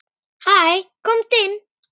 Hæ, komdu inn.